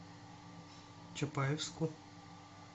чапаевску